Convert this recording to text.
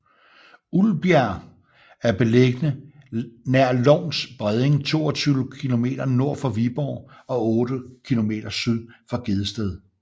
Ulbjerg er beliggende nær Lovns Bredning 22 kilometer nord for Viborg og otte kilometer syd for Gedsted